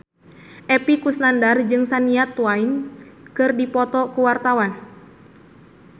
Epy Kusnandar jeung Shania Twain keur dipoto ku wartawan